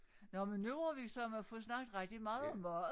Nå men nu har vi sørme fået snakket rigtig meget meget